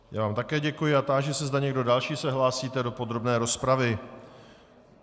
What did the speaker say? Já vám také děkuji a táži se, zda někdo další se hlásíte do podrobné rozpravy.